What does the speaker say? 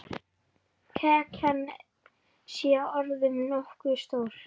Kakan sé orðin nógu stór.